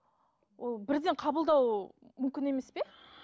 ол бірден қабылдау мүмкін емес пе